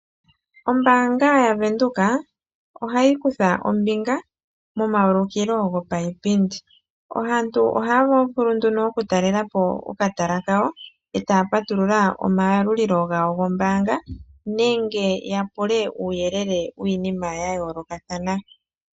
Ombaanga yaWindhoek ohayi kutha ombinga momayuliko gopayipindi. Aantu ohaa vulu ihe okutalelapo okatala kawo etaa patulula omayalulilo gawo gombaanga nenge yapule uuyelele wiinima yayoolokathana.